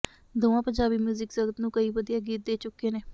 ਦੋਵਾਂ ਪੰਜਾਬੀ ਮਿਊਜ਼ਿਕ ਜਗਤ ਨੂੰ ਕਈ ਵਧੀਆ ਗੀਤ ਦੇ ਚੁੱਕੇ ਨੇ